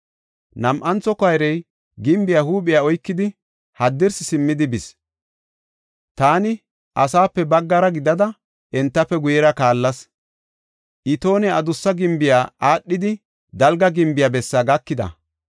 Nam7antho koyrey gimbiya huuphiya oykidi haddirsi simmidi bis. Taani asaape baggara gidada entafe guyera kaallas. Itoone Adussa Gimbiya aadhidi, Dalga Gimbiya bessaa gakida.